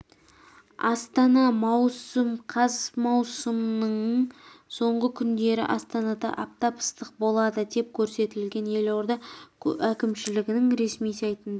астана маусым қаз маусымның соңғы күндері астанада аптап ыстық болады деп көрсетілген елорда әкімшілігінің ресми сайтында